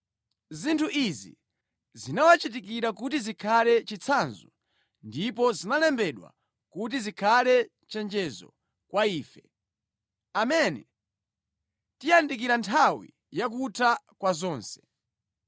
Zinthu izi zinawachitikira kuti zikhale chitsanzo ndipo zinalembedwa kuti zikhale chenjezo kwa ife, amene tiyandikira nthawi ya kutha kwa zonse.